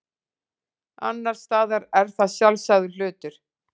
Annars staðar er það sjálfsagður hlutur.